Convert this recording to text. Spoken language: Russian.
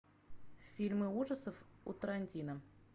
фильмы ужасов у тарантино